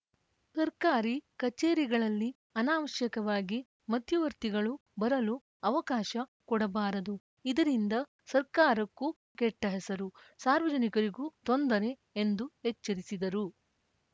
ಸರ್ಕಾರಿ ಕಚೇರಿಗಳಲ್ಲಿ ಅನಾವಶ್ಯಕವಾಗಿ ಮಧ್ಯವರ್ತಿಗಳು ಬರಲು ಅವಕಾಶ ಕೊಡಬಾರದು ಇದರಿಂದ ಸರ್ಕಾರಕ್ಕೂ ಕೆಟ್ಟಹೆಸರು ಸಾರ್ವಜನಿಕರಿಗೂ ತೊಂದರೆ ಎಂದು ಎಚ್ಚರಿಸಿದರು